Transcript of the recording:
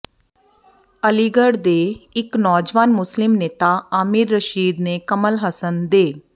ਅਲੀਗੜ ਦੇ ਇੱਕ ਨੌਜਵਾਨ ਮੁਸਲਿਮ ਨੇਤਾ ਆਮਿਰ ਰਸ਼ੀਦ ਨੇ ਕਮਲ ਹਸਨ ਦੇ